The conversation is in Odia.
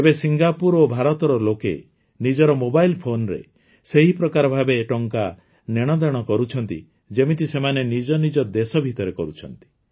ଏବେ ସିଙ୍ଗାପୁର ଓ ଭାରତର ଲୋକେ ନିଜର ମୋବାଇଲ ଫୋନ୍ରେ ସେହିପ୍ରକାର ଭାବେ ଟଙ୍କା ନେଣଦେଣ କରୁଛନ୍ତି ଯେମିତି ସେମାନେ ନିଜ ନିଜ ଦେଶ ଭିତରେ କରୁଛନ୍ତି